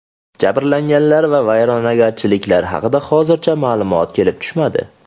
Jabrlanganlar va vayronagarchiliklar haqida hozircha ma’lumotlar kelib tushmadi.